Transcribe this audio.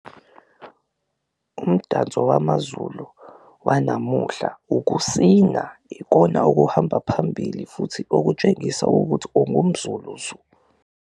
Umdanso wamaZulu wanamuhla ukusina ikona okuhamba phambili futhi okutshengisa ukuthi ungumZulu zu.